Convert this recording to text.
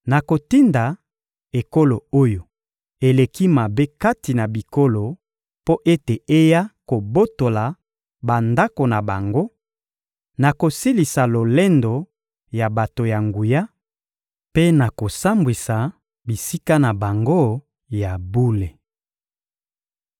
Nakotinda ekolo oyo eleki mabe kati na bikolo mpo ete eya kobotola bandako na bango; nakosilisa lolendo ya bato ya nguya mpe nakosambwisa bisika na bango ya bule.